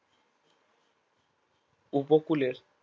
উপকূলের